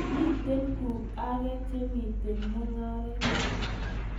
Miten kuk aka che miten mungeret